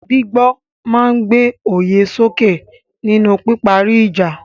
Gbígbọ́ máa ń gbé òye sókè nínú píparí ìjà.